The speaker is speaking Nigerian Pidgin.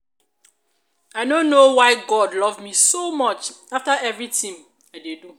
i no know why god love me so much after everything i dey do.